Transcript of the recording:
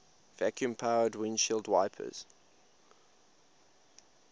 vacuum powered windshield wipers